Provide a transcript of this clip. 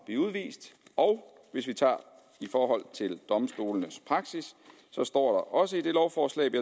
blive udvist og hvis vi tager i forhold til domstolenes praksis står også i det lovforslag vi